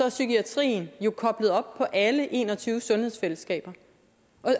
at psykiatrien jo er koblet op på alle en og tyve sundhedsfællesskaber